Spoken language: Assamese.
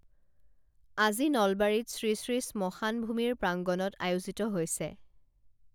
আজি নলবাৰীত শ্ৰীশ্ৰী শ্মশান ভূমিৰ প্ৰাংগণত আয়োজিত হৈছে